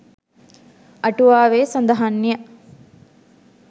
අටුවාවේ සඳහන් ය.